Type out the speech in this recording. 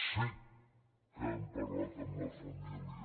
sí que hem parlat amb la família